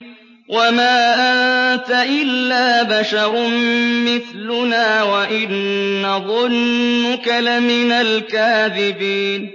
وَمَا أَنتَ إِلَّا بَشَرٌ مِّثْلُنَا وَإِن نَّظُنُّكَ لَمِنَ الْكَاذِبِينَ